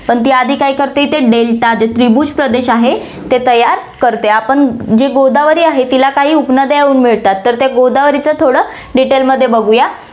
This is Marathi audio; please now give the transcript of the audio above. पण ती आधी काय करते इथे delta त्रिभुज प्रदेश आहे, ते तयार करते. आपण जे गोदावरी आहे, तिला काही उपनद्या येऊन मिळतात, तर त्या गोदावरीचं थोडं detailed मध्ये बघूया.